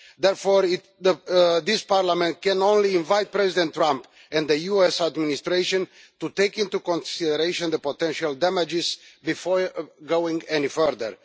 Therefore, this Parliament can only invite President Trump and the US administration to take into consideration the potential damage before going any further.